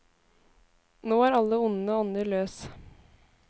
Nå er alle onde ånder løs.